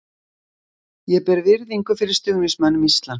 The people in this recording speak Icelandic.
Ég ber virðingu fyrir stuðningsmönnum Íslands.